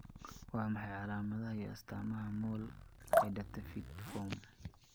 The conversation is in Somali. Waa maxay calaamadaha iyo astaamaha mole Hydatidform?